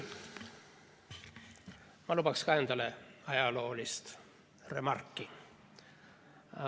Ma luban ka endale ühe ajaloolise remargi.